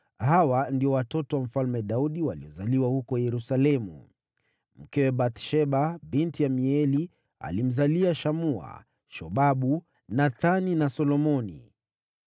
nao hawa ndio watoto wa Daudi waliozaliwa huko Yerusalemu: mkewe Bathsheba, binti Amieli, alimzalia Shamua, Shobabu, Nathani na Solomoni.